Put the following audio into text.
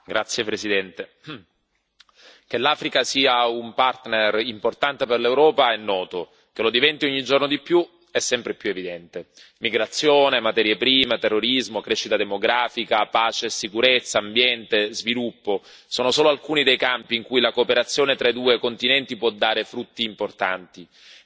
Signor Presidente, onorevoli colleghi, che l'Africa sia un partner importante per l'Europa è noto, che lo diventi ogni giorno di più è sempre più evidente. Migrazione, materie prime, terrorismo, crescita demografica, pace e sicurezza, ambiente e sviluppo sono solo alcuni dei campi in cui la cooperazione tra i due continenti può dare frutti importanti